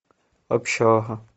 общага